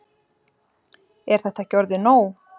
Er þetta ekki orðið nóg?